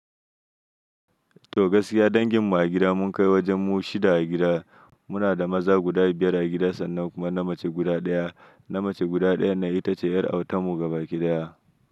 To gaskiya danginmu a gida mun kai wajen mu shida a gida. Muna da maza guda biyar a gida sannan kuma namace guda ɗaya. Namace guda ɗayan na ita ce yar autanmu gaba ɗaya.